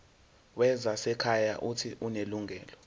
wezasekhaya uuthi unelungelo